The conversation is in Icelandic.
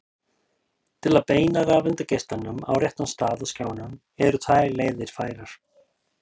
til að beina rafeindageislanum á réttan stað á skjánum eru tvær leiðir færar